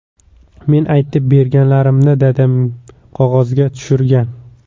Men aytib berganlarimni, dadam qog‘ozga tushirgan.